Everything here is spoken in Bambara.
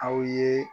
Aw ye